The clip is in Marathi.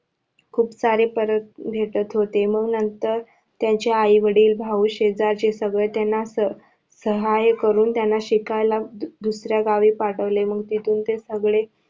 खूप सारे परत रिटत होते मग नंतर त्यांचे आई वडील भाऊ शेजारचे सगळे त्यांना सहाय करून त्यांना शिकायला दुसऱ्या गावी पाठवले मग तिथून ते सगळे